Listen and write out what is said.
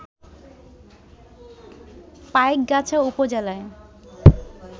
পাইকগাছা উপজেলায়